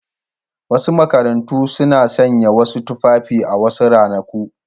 Wasu makarantu suna sanya wasu tufafi a wasu ranaku.